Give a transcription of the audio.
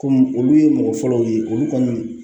Kɔmi olu ye mɔgɔ fɔlɔw ye olu kɔni